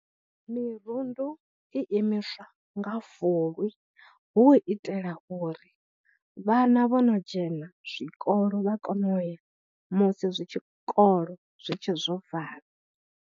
Mirundu i imiswa nga Fulwi hu itela uri vhana vho no dzhena zwikolo vha kone u ya musi zwi tshikolo zwi tshe zwo vala.